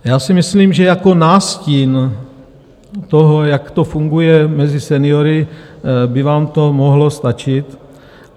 Já si myslím, že jako nástin toho, jak to funguje mezi seniory, by vám to mohlo stačit.